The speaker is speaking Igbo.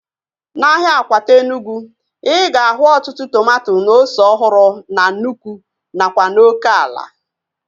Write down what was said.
Na ahịa Akwata Enugwu, ịga ahu ọtụtụ tomato na ose ọhụrụ na nnụkwụ nakwa n'oké ala